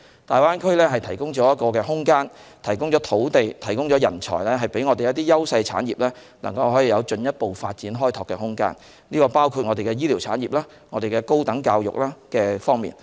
大灣區提供一個空間，供應土地、人才，讓我們的優勢產業能有進一步發展和開拓的空間，這包括了醫療產業、高等教育等方面。